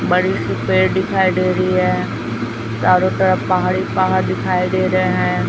बड़ी सी पेड़ दिखाई दे रही है चारों तरफ पहाड़ ही पहाड़ दिखाई दे रहे हैं।